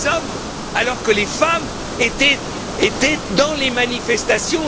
Il n'y a que des hommes alors que les femmes étaient dans les manifestations.